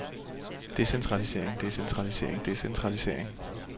decentralisering decentralisering decentralisering